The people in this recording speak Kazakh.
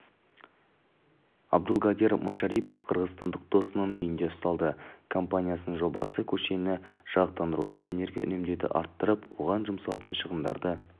абдулгадир машарипов қырғызстандық досының үйінде ұсталды компаниясының жобасы көшені жарықтандыруда энергия үнемдеуді арттырып оған жұмсалатын шығындарды